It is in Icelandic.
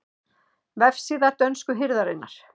Vefsíða dönsku hirðarinnar